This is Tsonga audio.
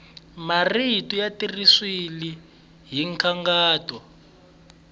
marito ya tirhisiwile hi nkhaqato